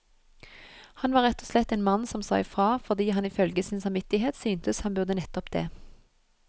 Han var rett og slett en mann som sa ifra, fordi han ifølge sin samvittighet syntes han burde nettopp det.